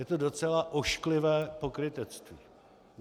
Je to docela ošklivé pokrytectví.